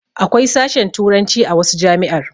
Akwai sashen turanci a wasu jami'ar